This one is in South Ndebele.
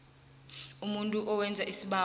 umuntu owenza isibawo